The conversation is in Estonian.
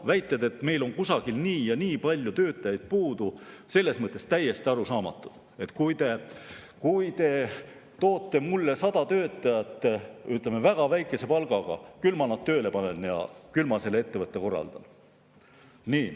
Väited, et meil on kusagil nii ja nii palju töötajaid puudu, on selles mõttes täiesti arusaamatud, et kui te toote mulle sada töötajat, ütleme, kes töötavad väga väikese palga eest, siis küll ma nad tööle panen ja küll ma selle ettevõtte ära korraldan.